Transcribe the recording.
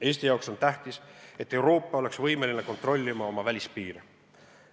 Eesti jaoks on tähtis, et Euroopa oleks võimeline kontrollima oma välispiire.